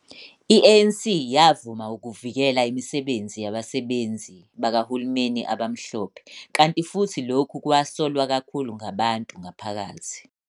I-ANC yavuma ukuvikela imisebenzi yabasebenzi bakahulumeni abamhlophe, kanti futhi lokhu kwasolwa kakhulu ngabantu ngaphakathi.